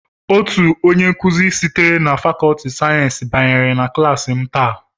Otu onye nkuzi sitere na fàkọọtị sayensị banyere na klass m tàà